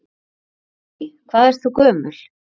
Guðný: Hvað ert þú gömul?